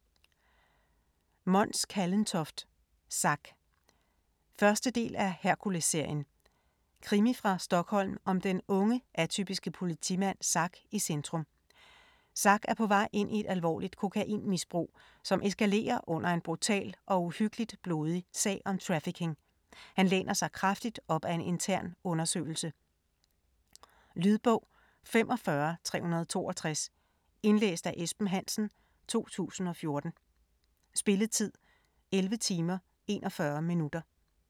Kallentoft, Mons: Zack 1. del af Herkulesserien. Krimi fra Stockholm med den unge, atypiske politimand Zack i centrum. Zack er på vej ind i et alvorligt kokainmisbrug, som eskalerer under en brutal og uhyggeligt blodig sag om trafficking. Han læner sig kraftigt op ad en intern undersøgelse. Lydbog 45362 Indlæst af Esben Hansen, 2014. Spilletid: 11 timer, 41 minutter.